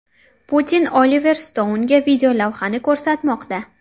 Putin Oliver Stounga videolavhani ko‘rsatmoqda.